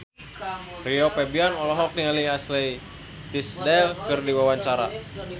Rio Febrian olohok ningali Ashley Tisdale keur diwawancara